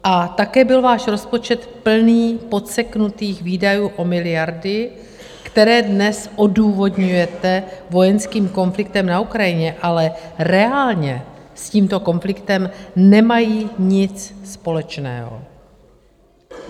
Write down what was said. A také byl váš rozpočet plný podseknutých výdajů o miliardy, které dnes odůvodňujete vojenským konfliktem na Ukrajině, ale reálně s tímto konfliktem nemají nic společného.